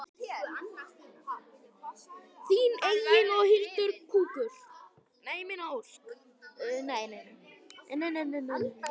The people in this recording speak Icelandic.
Þín Egill og Hildur Ósk.